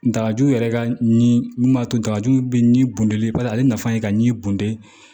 N dajugu yɛrɛ ka ɲi mun b'a to dagaju be ni bunde ba ye ale nafa ye ka ɲɛ bode